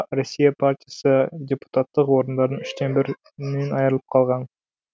россия партиясы депутаттық орындардың үштен бірінен айрылып қалған